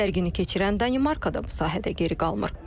Sərgini keçirən Danimarka da bu sahədə geri qalmır.